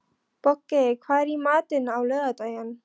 Bogey, hvað er í matinn á laugardaginn?